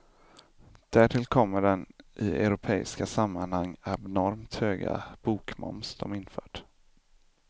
Därtill kommer den i europeiska sammanhang abnormt höga bokmoms de infört.